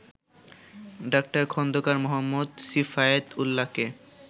ডা. খন্দকার মো. সিফায়েত উল্লাহকে